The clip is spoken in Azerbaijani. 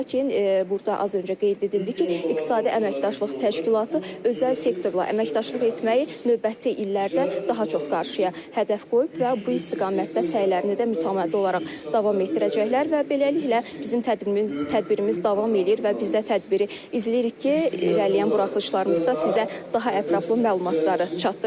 Lakin burda az öncə qeyd edildi ki, İqtisadi Əməkdaşlıq Təşkilatı özəl sektorla əməkdaşlıq etməyi növbəti illərdə daha çox qarşıya hədəf qoyub və bu istiqamətdə səylərini mütəmadi olaraq davam etdirəcəklər və beləliklə bizim tədbirimiz tədbirimiz davam eləyir və biz də tədbiri izləyirik ki, irəliləyən buraxılışlarımızda sizə daha ətraflı məlumatları çatdıraq.